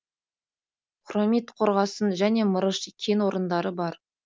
хромит қорғасын және мырыш кен орындары бар